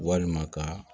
Walima ka